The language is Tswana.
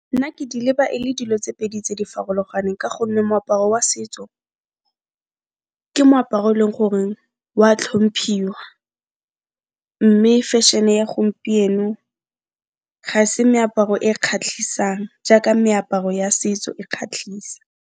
Nna ke di leba e le dilo tse pedi tse di farologaneng ka gonne moaparo wa setso ke moaparo e leng gore wa tlhomphiwa, mme fešhene ya gompieno ga se meaparo e kgatlhisang jaaka meaparo ya setso e kgatlhisa.